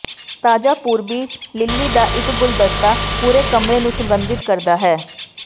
ਤਾਜਾ ਪੂਰਬੀ ਲਿੱਲੀ ਦਾ ਇੱਕ ਗੁਲਦਸਤਾ ਪੂਰੇ ਕਮਰੇ ਨੂੰ ਸੁਗੰਧਿਤ ਕਰ ਸਕਦਾ ਹੈ